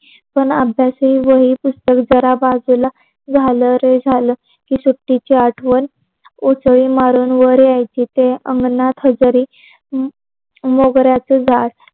पण अभ्यासही वही पुसक जरा बाजूला झाल झाल रे की सुट्टीची आठवण उसळी मारून वर यायच ते अंगणात वगेरे मोगऱ्याच झाड